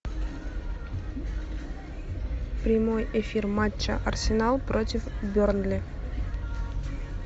прямой эфир матча арсенал против бернли